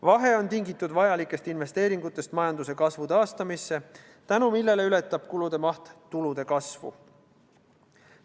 Vahe on tingitud vajalikest investeeringutest majanduse kasvu taastamisse, mistõttu ületab kulude maht tulude kasvu.